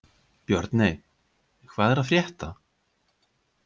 Björney, hvað er að frétta?